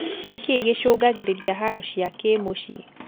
Nĩkĩĩ gĩchũngagĩrĩria haro cia kĩmũcii?